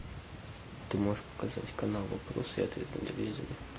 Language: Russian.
ты можешь показать канал вопросы и ответы на телевизоре